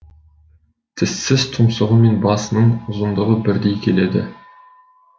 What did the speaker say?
тіссіз тұмсығы мен басының ұзындығы бірдей келеді